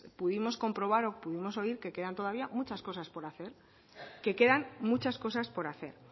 pudimos comprobar o pudimos oír que quedan todavía muchas cosas por hacer que quedan muchas cosas por hacer